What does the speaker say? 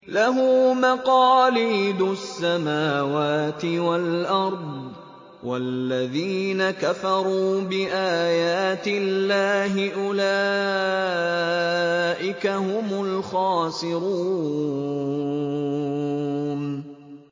لَّهُ مَقَالِيدُ السَّمَاوَاتِ وَالْأَرْضِ ۗ وَالَّذِينَ كَفَرُوا بِآيَاتِ اللَّهِ أُولَٰئِكَ هُمُ الْخَاسِرُونَ